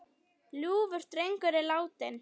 Ljúfur drengur er látinn.